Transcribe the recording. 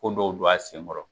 Ko dɔw don a sen kɔrɔ.